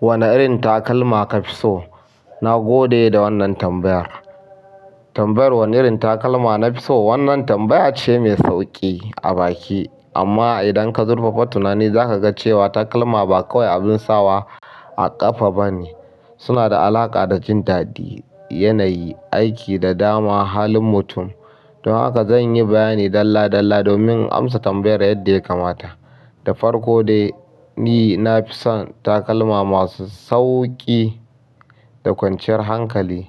Wane irin takalma ka fi so? Na gode da wannan tambayar. Tambayar wane irin takalma na fi so. Wannan tambaya ce mai sauƙi a baki amma idan ka zurfafa tunani za ka ga cewa takalma ba kawai abin sawa a ƙafa ba ne. Suna da alaƙa da jin daɗi, yanayi, aiki da dama halin mutum. Don haka zan yi bayani dalla dalla domin in amsa tambayar yadda ya kamata. Da farko dai, ni na fi son takalma masu sauƙi da kwanciyar hankali.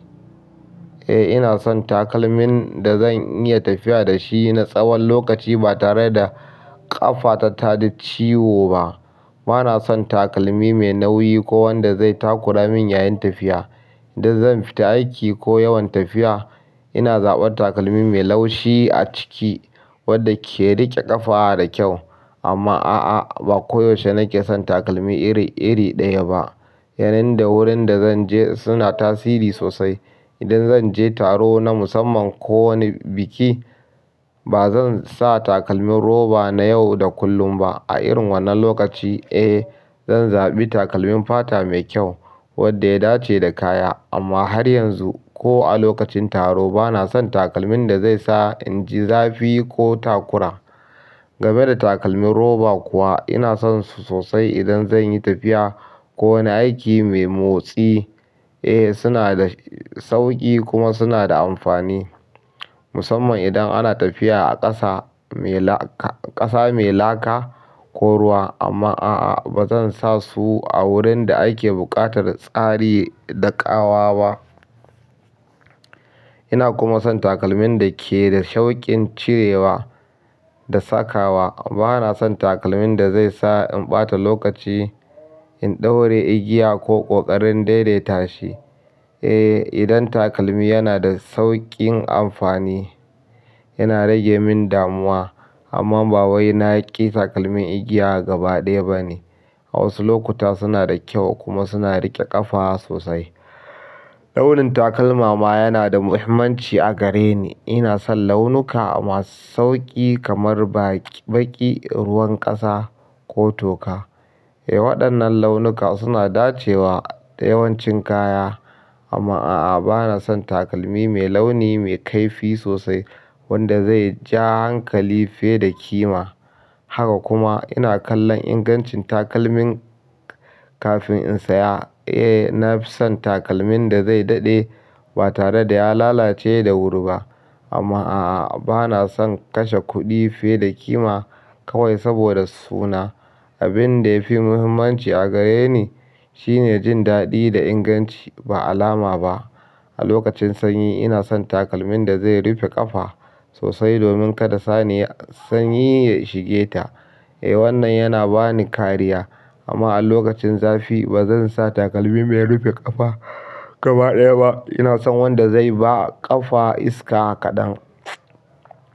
Eh, ina son takalmin da zan iya tafiya da shi na tsawon lokaci ba tare da ƙafa ta taji ciwo ba. Bana son takalmi mai nauyi ko wanda zai takura min yayin tafiya. Idan zan fita aiki ko yawan tafiya ina zaɓar takalmi mai laushi a ciki wadda ke riƙe ƙafa da kyau. Amma a'a, ba koyaushe nake son takalmi iri, iri ɗaya ba. Yanayi da wurin da zan je suna tasiri sosai. Idan zan je taro na musamman ko wani biki ba zan sa takalmin roba na yau da kullum ba. A irin wannan lokaci, eh zan zaɓi takalmin fata mai kyau wadda ya dace da kaya. Amma har yanzu ko a lokacin taro bana son takalmin da zai sa in ji zafi ko takura. Game da takalmin roba kuwa ina son su sosai idan zan yi tafiya ko wani aiki mai motsi. Eh suna da sauƙi kuma suna da amfani musamman idan ana tafiya a ƙasa mai laka, ƙasa mai laka ko ruwa. Amma a'a ba zan sa su a wurin da ake buƙatar tsari da ƙawa ba. Ina kuma son takalmin da ke da sauƙin cirewa da sakawa. Bana son takalmin da zai sa in ɓata lokaci in ɗaure igiya ko ƙoƙarin daidaita shi. Eh idan takalmi yanada sauƙin amfani yana rage min damuwa amma ba wai na ƙi takalmin igiya gaba ɗaya ba ne. Wasu lokuta suna da kyau kuma suna rike ƙafa sosai, daurin takalma ma yanada mahimmanci a gare ni ina son launuka masu sauƙi kamar baki, baki, ruwan ƙasa ko toka. Eh waɗannan launuka suna dacewa da yawancin kaya. Amma a'a bana son takalmi mai launi mai kaifi sosai wanda zai ja hankali fiye da kima. Haka kuma ina kallon ingancin takalmin kafin in saya. Eh, na fi son takalmin da zai daɗe ba tare da ya lalace da wuri ba. Amma a'a bana son kashe kuɗi fiye da kima kawai saboda suna. Abin da ya fi muhimmanci a gare ni shine jin daɗi da inganci ba alama ba. A lokacin sanyi ina son takalmin da zai rufe ƙafa sosai domin ƙara sanyi ya shige ta eh. Wannan yana bani kariya, amma a lokacin zafi ba zan sa takalmi me rufe ƙafa gaba ɗaya ba ina son wanda zai ba ƙafa iska kaɗan.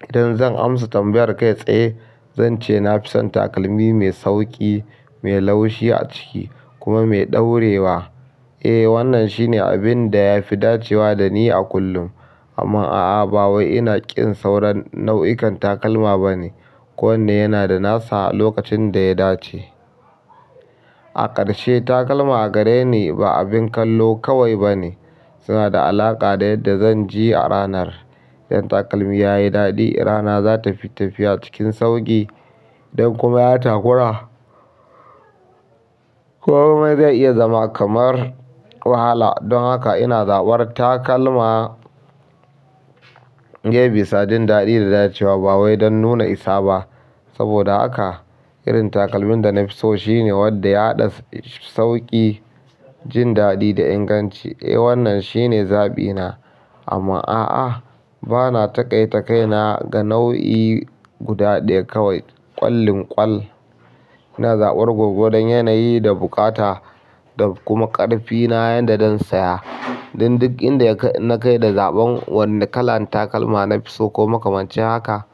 Idan zan amsa tambayar kai tsaye zan ce na fi son takalmi mai sauƙi, mai laushi a ciki kuma mai ɗaure wa. Eh wannan shine abin da ya fi dacewa da ni a kullum. Amma a'a ba wai ina ƙin sauran nau'ikan takalma ba ne. Ko wanne yana da nasa lokacin da ya dace. A ƙarshe takalma a gare ni ba abin kallo kawai ba ne. Suna da alaƙa da yadda zan ji a ranar. Idan takalmi ya yi daɗi rana za ta fi tafiya cikin sauƙi. Idan kuma ya takura, komai zai iya zama kamar wahala. Don haka ina zaɓar takalma ne bisa jin daɗi da dacewa ba wai don nuna isa ba. Saboda haka irin takalmin da na fi so shine wadda ya haɗa sauƙi, jin daɗi da inganci. Eh wannan shine zabi na amma a'a bana takaita kaina ga nau'i guda ɗaya kawai kwalinkwal ina zabar gwargwadon yanayi da bukata da kuma ƙarfi na yanda zan siya don duk inda na kai da zaɓin wannan kalan takalma na fi so ko makamancin haka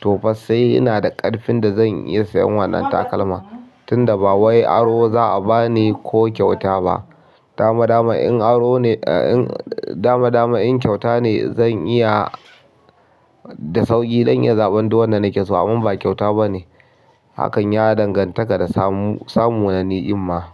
to fassai ina da ƙarfin da zan iya sayen wannan takalma tunda ba wai aro za a bani ko kyauta ba. Dama, dama in aro ne, dama, dama in kyauta ne zan iya da sauƙi zan in iya zaɓan duwanda nake so amma ba kyauta ba ne. Hakan ya danganta ka da samu, samu na ni'ima.